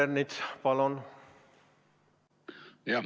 Peeter Ernits, palun!